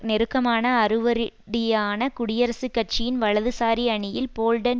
நெருக்கமான அடிவருடியாக குடியரசுக் கட்சியின் வலதுசாரி அணியில் போல்டன்